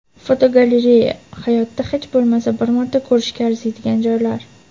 Fotogalereya: Hayotda hech bo‘lmasa bir marta ko‘rishga arziydigan joylar.